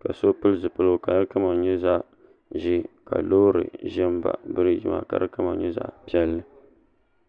ka so pili zipiligu ka di kama nyɛ zaɣ'ʒee ka loori ʒi m-baɣi biriigi maa ka di kama nyɛ zaɣ'piɛlli.